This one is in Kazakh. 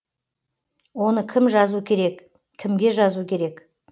оны кім жазу керек кімге жазу керек